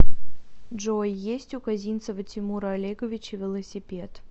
джой есть у козинцева тимура олеговича велосипед